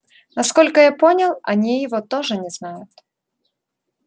насколько я понял они его тоже не знают